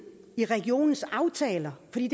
i regionens aftaler det